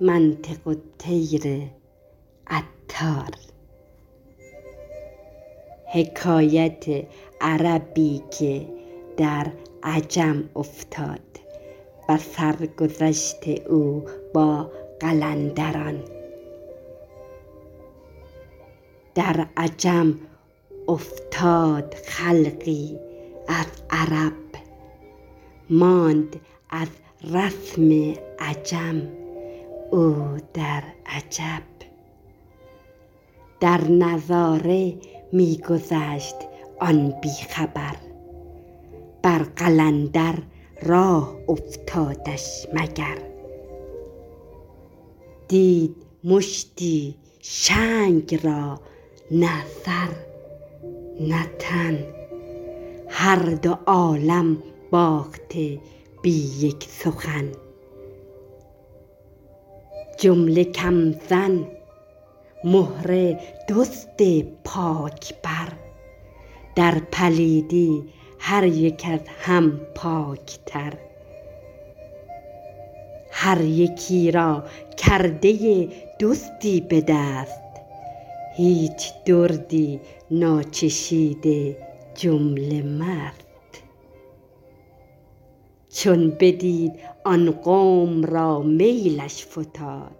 در عجم افتاد خلقی از عرب ماند از رسم عجم او در عجب در نظاره می گذشت آن بی خبر بر قلندر راه افتادش مگر دید مشتی شنگ را نه سر نه تن هر دو عالم باخته بی یک سخن جمله کم زن مهره دزد پاک بر در پلیدی هریک از هم پاک تر هر یکی را کرده ای دزدی به دست هیچ دردی ناچشیده جمله مست چون بدید آن قوم را میلش فتاد